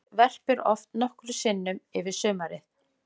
Kvendýrið verpir oft nokkrum sinnum yfir sumarið.